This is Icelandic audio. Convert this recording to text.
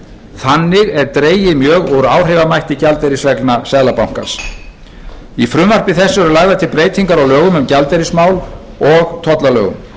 þannig er dregið mjög úr áhrifamætti gjaldeyrisreglna seðlabankans í frumvarpi þessu eru lagðar til breytingar á lögum um gjaldeyrismál og tollalögum